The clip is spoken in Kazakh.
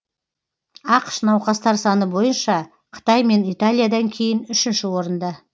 ақш науқастар саны бойынша қытай мен италиядан кейін үшінші орында